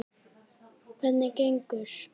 Hvernig gengur?